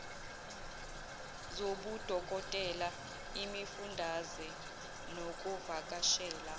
zobudokotela imifundaze nokuvakashela